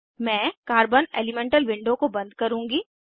मैं carbon elemental window को बंद करुँगी